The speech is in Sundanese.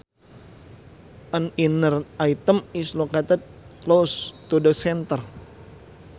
An inner item is located close to the center